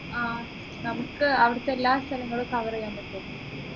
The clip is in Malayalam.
ആഹ് നമുക്ക് അവിടുത്തെ എല്ലാ സ്ഥലങ്ങളും cover ചെയ്യാൻ പറ്റുമോ